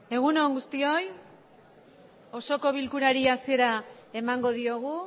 egun on guztioi osoko bilkurari hasiera emango diogu